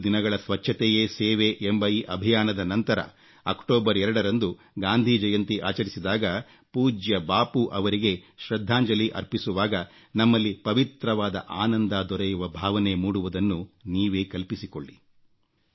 15 ದಿನಗಳ ಸ್ವಚ್ಛತೆಯೇ ಸೇವೆ ಎಂಬ ಈ ಅಭಿಯಾನದ ನಂತರ ಅಕ್ಟೋಬರ್ 2ರಂದು ಗಾಂಧಿ ಜಯಂತಿ ಆಚರಿಸಿದಾಗ ಪೂಜ್ಯ ಬಾಪು ಅವರಿಗೆ ಶೃದ್ಧಾಂಜಲಿ ಅರ್ಪಿಸುವಾಗ ನಮ್ಮಲ್ಲಿ ಪವಿತ್ರವಾದ ಆನಂದ ದೊರೆಯುವ ಭಾವನೆ ಮೂಡುವುದನ್ನು ನೀವೇ ಕಲ್ಪಿಸಿಕೊಳ್ಳಿ